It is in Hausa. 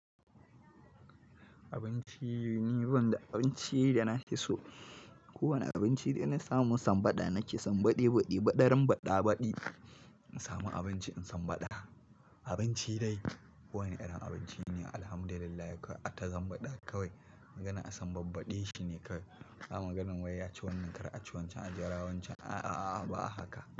Abinci ni, ban da abinci da na fi so. Kowane abinci dai na samu in san baɗa, na ke san baɗi baɗi. Ɓadaran baɗa baɗi, in samu abinci in san baɗa. Abinci dai, kowane irin abinci ne, alhamdulillah, kawai ai ta san baɗa kawai. Magana a san babbade shi ne kawai. Ba maganan wai ya ci wannan, kar a ci waccan, a jira waccan, a a a ba haka.